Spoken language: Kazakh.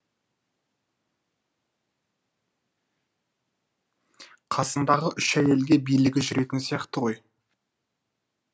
қасындағы үш әйелге билігі жүретін сияқты ғой